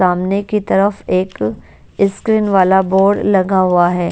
सामने की तरफ एक स्क्रीन वाला बोर्ड लगा हुआ है।